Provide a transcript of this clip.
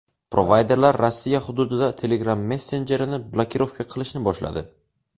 Provayderlar Rossiya hududida Telegram messenjerini blokirovka qilishni boshladi.